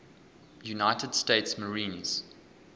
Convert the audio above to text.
united states marines